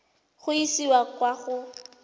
go e isa kwa go